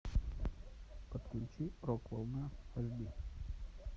подключи рок волна аш ди